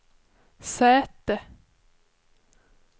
säte